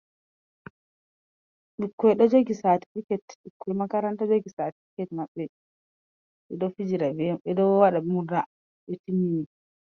Ɓikkoy ɗo joki saatifiket, ɓikkoy makaranta jogi satmatificate maɓɓe ɗo fijira bee may ɓe ɗo waɗa murna ɓe timmini.